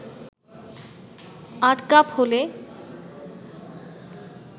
৮ cup হলে